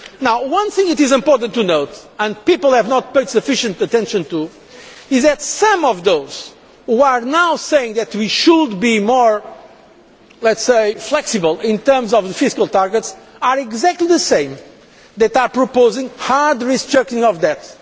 IMF. Now, one thing it is important to note and which people have not paid sufficient attention to, is that some of those who are now saying that we should be more, let us say, flexible in terms of the fiscal targets, are exactly the same people as are proposing hard restructuring of debt